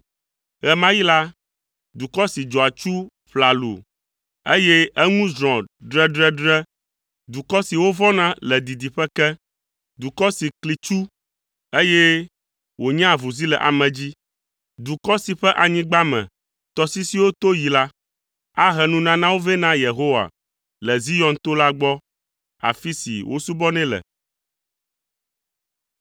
Ɣe ma ɣi la, dukɔ si dzɔ atsu ƒlalu, eye eŋu zrɔ̃ dredredre, dukɔ si wovɔ̃na le didiƒe ke, dukɔ si kli tsu, eye wònyaa avuzi le ame dzi, dukɔ si ƒe anyigba me tɔsisiwo to yi la, ahe nunanawo vɛ na Yehowa le Zion to la gbɔ, afi si wosubɔnɛ le.